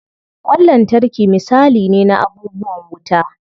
Ƙwan lantarki misali ne na abubuwan wuta.